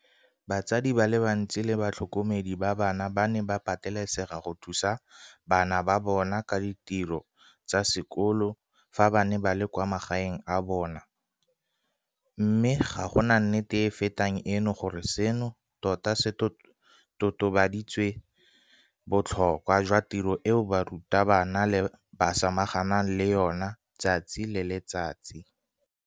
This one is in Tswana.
Batsadi ba le bantsi le batlhokomedi ba bana ba ne ba patelesega go thusa bana ba bona ka ditiro tsa sekolo fa ba ne ba le kwa magaeng a bona, mme ga gona nnete e e fetang eno gore seno tota se totobaditse botlhokwa jwa tiro eo barutabana ba samaganang le yona letsatsi le letsatsi.